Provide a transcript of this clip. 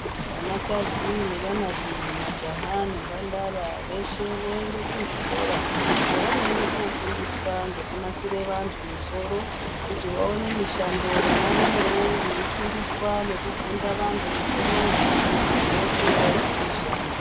Vanakadzi nevanarume majaha nembandara veshe voende kuzvikora zvavanoenda kofundiswa ngekunasire vanthu misoro kuti vawone mishando vanarumewo veifundiswa nekugunda vanthu musoro mwo kuti veshe vaite mishando.